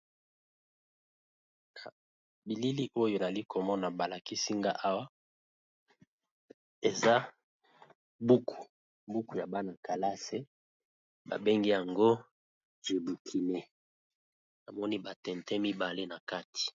Na bilili oyo ezali komona balakisi-nga awa eza bukubuku ya bana-kalase babengi yango jebukine amoni batente mibale na kati.